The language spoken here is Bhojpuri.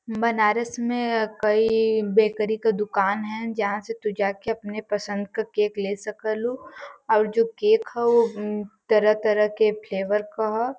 बनारस में कई बेकरी के दुकान हैं जहां से तू जा के अपने पसंद क केक ले सकलू और जो केक ह ऊ म्म तरह-तरह के फ्लेवर क ह।